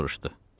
O soruşdu.